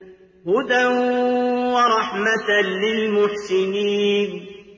هُدًى وَرَحْمَةً لِّلْمُحْسِنِينَ